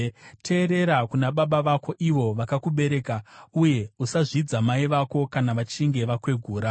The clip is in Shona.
Teerera kuna baba vako, ivo vakakubereka, uye usazvidza mai vako kana vachinge vakwegura.